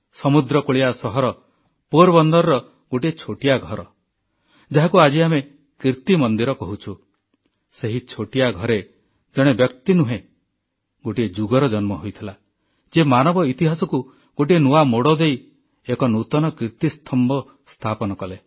ସମୁଦ୍ର କୂଳିଆ ସହର ପୋରବନ୍ଦରର ଗୋଟିଏ ଛୋଟିଆ ଘର ଯାହାକୁ ଆଜି ଆମେ କୀର୍ତ୍ତି ମନ୍ଦିର କହୁଛୁ ସେହି ଛୋଟିଆ ଘରେ ଜଣେ ବ୍ୟକ୍ତି ନୁହେଁ ଗୋଟିଏ ଯୁଗର ଜନ୍ମ ହୋଇଥିଲା ଯିଏ ମାନବ ଇତିହାସକୁ ଗୋଟିଏ ନୂଆ ମୋଡ଼ ଦେଇ ଏକ ନୂତନ କୀର୍ତ୍ତିସ୍ତମ୍ଭ ସ୍ଥାପନ କଲା